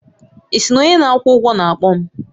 Ị sị na onye na-akwụ ụgwọ na-akpọ m?